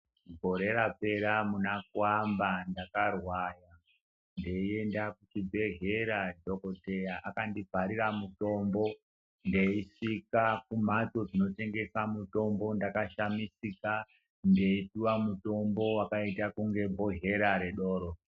Gore rapera muna ku amba ndaka rwara ndeyi enda ku chi bhedhlera dhokoteya akandi bharira mutombo ndeyi zvika ku mbatso dzino tengesa mutombo ndaka shamisika ndeyi puwa mutombo wakaita kunge bhohlera re doro.